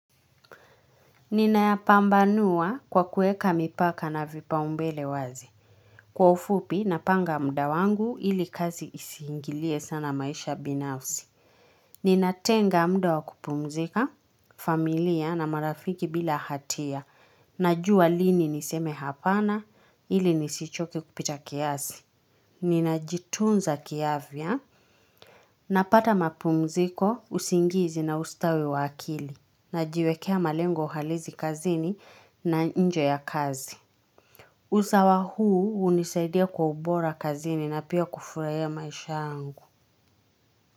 Nina yapambanua kwa kueka mipaka na vipaumbele wazi. Kwa ufupi napanga mda wangu ili kazi isihingilie sana maisha binafsi. Nina tenga mda wa kupumzika familia na marafiki bila hatia. Najua lini niseme hapana ili nisichoke kupita kiasi. Nina jitunza kiavya. Napata mapumziko usingizi na ustawi wakili. Na jiwekea malengo halizi kazini na nje ya kazi. Usawa huu unisaidia kwa ubora kazini na pia kufuraiya maisha angu.